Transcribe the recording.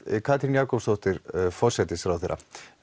Katrín Jakobsdóttir forsætisráðherra